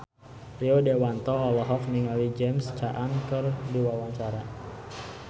Rio Dewanto olohok ningali James Caan keur diwawancara